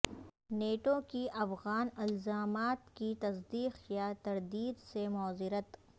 NATO کی افغان الزامات کی تصدیق یا تردید سے معذرت